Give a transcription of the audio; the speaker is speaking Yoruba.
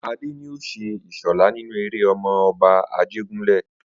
Adé ni ó s̩e Ìs̩ò̩lá nínú eré O̩mo̩-o̩ba Ajégúnlè̩